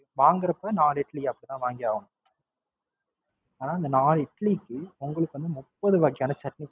வாங்கிறப்ப நாலு இட்லியா, அப்படித்தான். வாங்கியாகனும். ஆனாஅந்த நாலு இட்லிக்கு, உங்களுக்கு வந்து முப்பது வகையான சட்னி.